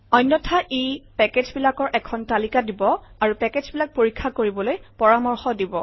অন্যথা ই পেকেজবিলাকৰ এখন তালিকা দিব আৰু পেকেজবিলাক পৰীক্ষা কৰিবলৈ পৰামৰ্শ দিব